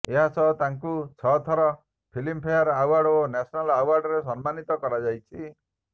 ଏହାସହ ତାଙ୍କୁ ଛଅ ଥର ଫିଲ୍ମ ଫେୟାର ଆୱାର୍ଡ ଓ ନ୍ୟାସନାଲ ଆୱାର୍ଡରେ ସମ୍ମାନୀତ କରାଯାଇଛି